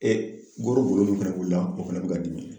E min fɛnɛ b'u la o fɛnɛ bi k'a dimi